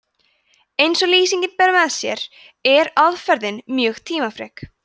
eins og lýsingin ber með sér er aðferðin mjög tímafrek